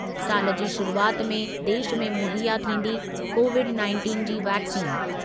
सालि जी शुरुआति में देशु में मुहैया थींदी कोविड नाइंटिन जी वैक्सीन।